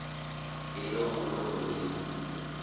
e le kgolo ho eo